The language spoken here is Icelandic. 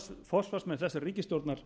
forsvarsmenn þessarar ríkisstjórnar